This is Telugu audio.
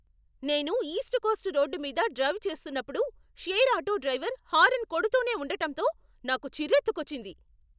నేను ఈస్ట్ కోస్ట్ రోడ్డు మీద డ్రైవ్ చేస్తున్నప్పుడు, షేర్ ఆటో డ్రైవర్ హారన్ కొడుతూనే ఉండటంతో నాకు చిర్రెత్తుకొచ్చింది.